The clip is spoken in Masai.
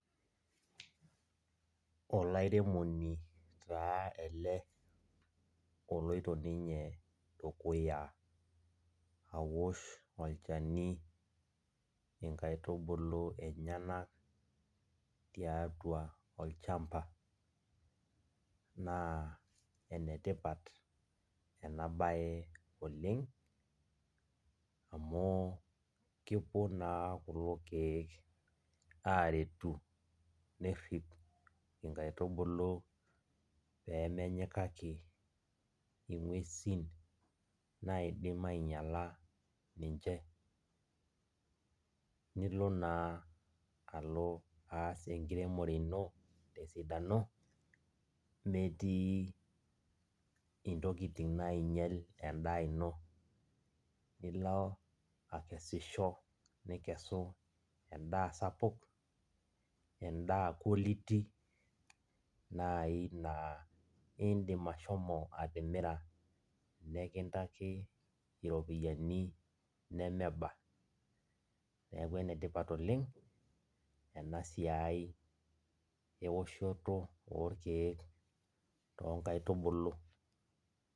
Olairemoni taa ele oloito ninye dukuya awosh olchani onkaitubulu enyenak tiatua olchamba na enetipat enabae oleng amu kepuo na kulo kiek aret nerip inkaitubulu pemenyikaki ingwesin naidim ainyala ninche nilo na alo aas enkiremore ino tesidano metii ntokitin nainyal endaa ino, nilo akesisho nikesu endaa sapuk endaa quality na indimbashomo atimira nikintaki ropiyani nemeba, neaku enetipat oleng enasiai eoshoto orkiek tonkaitubulu.